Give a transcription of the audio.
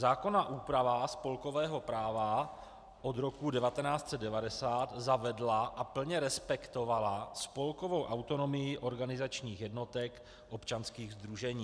Zákonná úprava spolkového práva od roku 1990 zavedla a plně respektovala spolkovou autonomii organizačních jednotek občanských sdružení.